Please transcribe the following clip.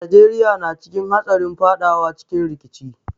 Najeriya na cikin hatsarin fadawa cikin rikici.